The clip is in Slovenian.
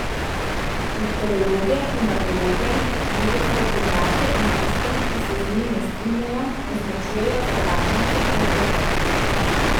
Meteorologe, klimatologe, druge strokovnjake in tiste, ki se z njimi ne strinjajo, označujejo za plačance ali ovce.